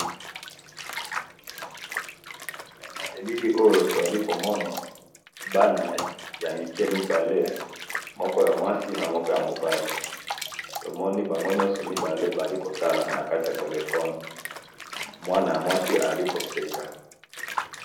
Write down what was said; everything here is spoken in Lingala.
Na elili oyo tomoni bana mibale ya mwasi pe na mobali, baza kotala na téléphone, oyo ya mwasi aza koseka.